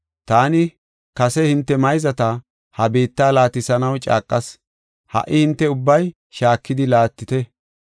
Taani kase hinte mayzata ha biitta laatisanaw caaqas; ha77i hinte ubbay shaakidi laattite.